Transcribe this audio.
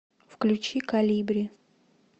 включи колибри